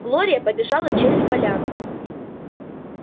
глория побежала через поляну